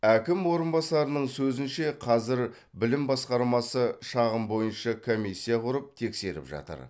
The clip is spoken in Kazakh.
әкім орынбасарының сөзінше қазір білім басқармасы шағым бойынша комиссия құрып тексеріп жатыр